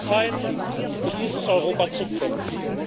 es ist an der Zeit, für dieses Europa zu kämpfen.